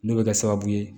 N'o bɛ kɛ sababu ye